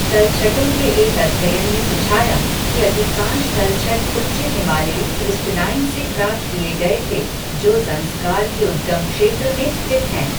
तलछटों के एक अध्ययन ने सुझाया कि अधिकांश तलछट उच्च हिमालयी क्रिस्टलाइन से प्राप्त किए गए थे जो ज़ंस्कार के उद्गम क्षेत्र में स्थित हैं।